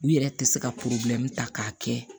U yɛrɛ tɛ se ka ta k'a kɛ